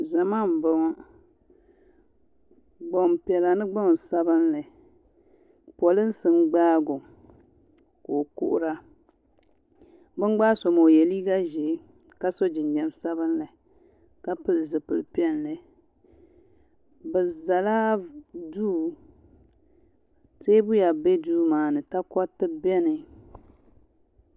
zama n boŋɔ gbanpiɛlla ni gbansabila polisi n gba gɔ ko kuhiri bɛn gba so maa o yɛ liga ʒiɛ ka so jijam sabinli ka piɛli ʒɛpilipiɛlli bɛ la do tɛya bɛ do maani takuritɛ bɛni